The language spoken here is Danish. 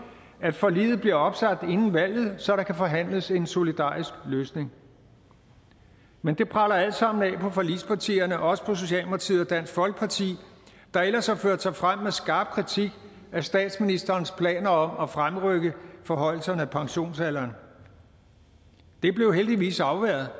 at forliget bliver opsagt inden valget så der kan forhandles en solidarisk løsning men det preller alt sammen af på forligspartierne også på socialdemokratiet og dansk folkeparti der ellers har ført sig frem med skarp kritik af statsministerens planer om at fremrykke forhøjelserne af pensionsalderen det blev heldigvis afværget